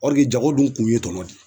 jago dun kun ye tɔnɔ de ye